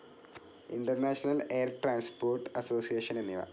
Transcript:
International Air Transport Association എന്നിവ.